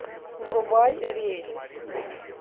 врубай рейс